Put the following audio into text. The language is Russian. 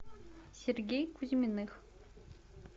сергей кузьминых